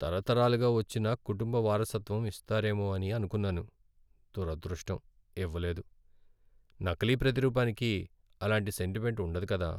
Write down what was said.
తరతరాలుగా వచ్చిన కుటుంబ వారసత్వం ఇస్తారేమో అని అనుకున్నాను, దురదృష్టం! ఇవ్వలేదు. నకిలీ ప్రతిరూపానికి అలాంటి సెంటిమెంట్ ఉండదు కదా.